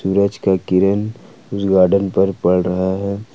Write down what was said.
सूरज का किरण उस गार्डन पर पर रहा है।